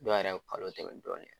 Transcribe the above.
Dɔw yɛrɛ bɛ kalo tɛmɛ dɔɔnin.